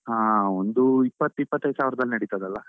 ಹಾ, ಒಂದು ಇಪ್ಪತ್ತು ಇಪ್ಪತೈದು ಸಾವಿರದಲ್ಲಿ ನಡೀತಾದಲ್ಲ?